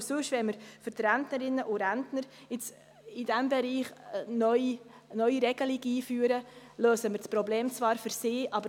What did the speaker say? Wenn wir in diesem Bereich für die Rentnerinnen und Rentner eine neue Regelung einführen, lösen wir zwar das Problem für diese.